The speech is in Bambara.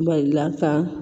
Ba la ka